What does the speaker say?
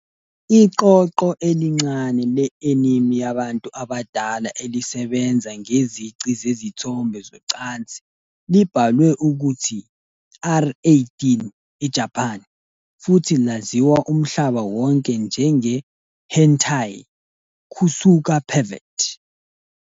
Iqoqo elincane le-anime yabantu abadala elisebenza ngezici zezithombe zocansi libhalwe ukuthi "R18" eJapan, futhi laziwa umhlaba wonke njenge- "hentai", kusuka pervert.